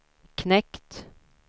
knekt